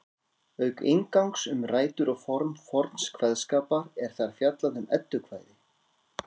Auk inngangs um rætur og form forns kveðskapar er þar fjallað um eddukvæði.